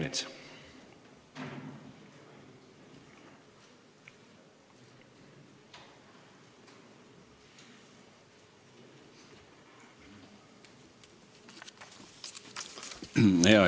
Peeter Ernits.